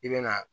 I bɛ na